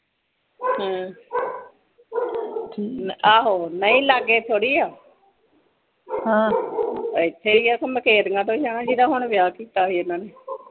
ਹਮ ਆਹੋ ਨਹੀਂ ਲਾਗੇ ਥੋੜੀ ਆ ਇਥੇ ਹੀ ਆ ਮਖੇਤੀਆਂ ਕੋਲੇ ਜੀਦਾ ਹੁਣੇ ਵਿਆਹ ਕੀਤਾ ਸੀ ਇਹਨਾਂ ਨੇ